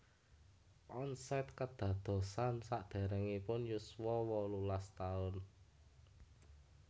Onset kedadosan sakderengipun yuswa wolulas taun